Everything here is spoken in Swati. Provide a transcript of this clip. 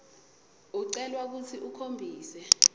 ucelwa kutsi ukhombise